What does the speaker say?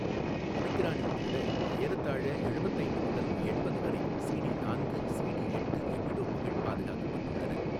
ஒமிக்ரானில் கூடஏறத்தாழ எழுபத்து ஐந்து முதல் எண்பது வரை சிடி நான்கு, சிடி எட்டு எபிடோப்புகள் பாதுகாக்கப்பட்டுள்ளன.